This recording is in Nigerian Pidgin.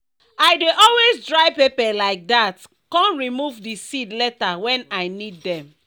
i dey always dry pepper like that com remove di seed later wen i need dem.